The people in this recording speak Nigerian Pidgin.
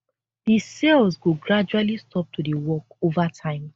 di cells go gradually stop to dey work ova time